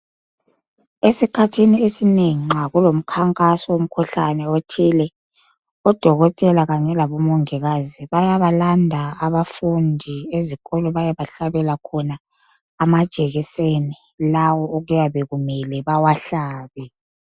Esikhathini esinengi nxa kulomkhankaso womkhuhlane othile odokotela kanye labomongikazi bayabalanda abafundi ezikolo beyebahlabela khona amajekiseni lawo okuyabe kumele bawahlabe